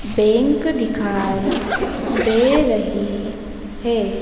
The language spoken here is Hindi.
बैंक दिखाई दे रही है।